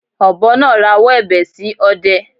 Ọ̀bọ náà rawọ́ ẹ̀bẹ̀ sí ọdẹ